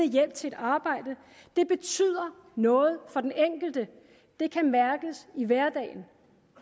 hjælp til et arbejde det betyder noget for den enkelte det kan mærkes i hverdagen